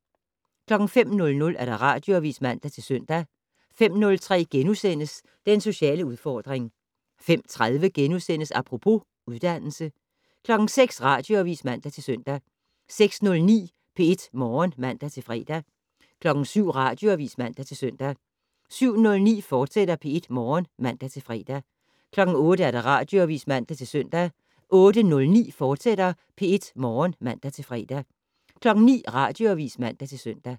05:00: Radioavis (man-søn) 05:03: Den sociale udfordring * 05:30: Apropos - uddannelse * 06:00: Radioavis (man-søn) 06:09: P1 Morgen (man-fre) 07:00: Radioavis (man-søn) 07:09: P1 Morgen, fortsat (man-fre) 08:00: Radioavis (man-søn) 08:09: P1 Morgen, fortsat (man-fre) 09:00: Radioavis (man-søn)